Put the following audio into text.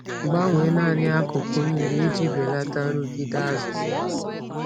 Gbanwee naanị akụkụ mmiri iji belata nrụgide azụ.